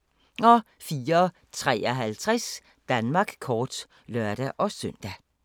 04:53: Danmark kort (lør-søn)